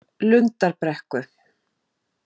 Lundarbrekku